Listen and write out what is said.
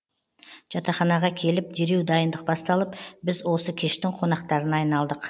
жатақханаға келіп дереу дайындық басталып біз осы кештің қонақтарына айналдық